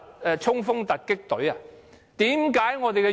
要衝鋒突擊隊嗎？